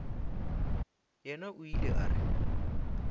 yena o ile a re